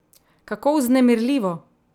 Kako vznemirljivo!